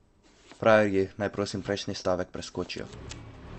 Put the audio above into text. Frajerji naj, prosim, prejšnji stavek preskočijo.